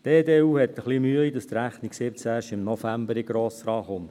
Die EDU hat etwas Mühe, dass die Rechnung 2017 erst im November in den Grossen Rat kommt.